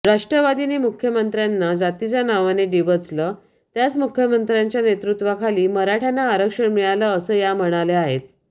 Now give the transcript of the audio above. राष्ट्रवादीने मुख्यमंत्र्यांना जातीच्या नावाने डिवचलं त्याच मुख्यमंत्र्यांच्या नेतृत्त्वाखाली मराठ्यांना आरक्षण मिळालं असं या म्हणाल्या आहेत